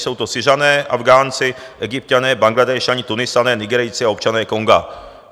Jsou to Syřané, Afghánci, Egypťané, Bangladéšané, Tunisané, Nigerijci a občané Konga.